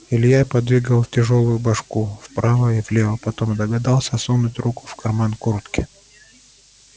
илья подвигал тяжёлую башку вправо и влево потом догадался сунуть руку в карман куртки